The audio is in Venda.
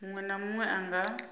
muṅwe na muṅwe a nga